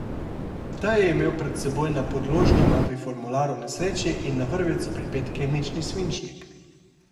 Ta je imel pred seboj na podložni mapi formular o nesreči in na vrvico pripet kemični svinčnik.